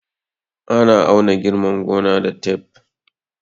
Ana auna girman gona da taf